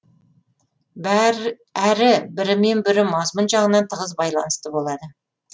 әрі бірімен бірі мазмұн жағынан тығыз байланысты болады